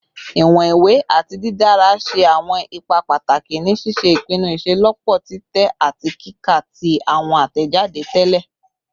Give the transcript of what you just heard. Iwọn iwe ati didara ṣe awọn ipa pataki ni ṣiṣe ipinnu iṣelọpọ titẹ ati kika ti awọn atẹjade tẹlẹ